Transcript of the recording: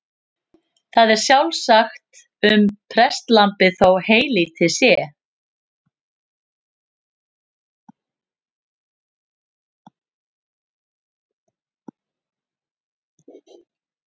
Það er sjálfsagt um prestlambið þó heylítið sé.